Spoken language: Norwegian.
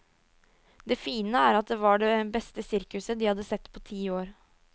Det fine er at det var det beste sirkuset de hadde sett på ti år.